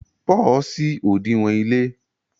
Paul ṣí odinwo ile.